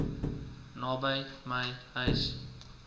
naby my huis